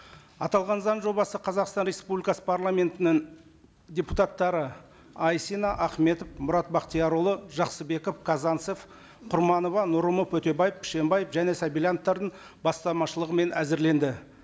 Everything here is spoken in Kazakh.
аталған заң жобасы қазақстан республикасы парламентінің депутаттары айсина ахметов мұрат бақтиярұлы жақсыбеков казанцев құрманова нұрымов өтебаев пшембаев және сабильяновтардың бастамашылығымен әзірленді